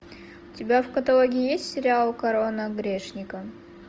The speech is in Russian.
у тебя в каталоге есть сериал корона грешника